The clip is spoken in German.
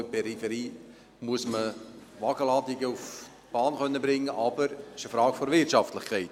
Auch in der Peripherie muss man Wagenladungen auf die Bahn bringen können, es ist aber eine Frage der Wirtschaftlichkeit.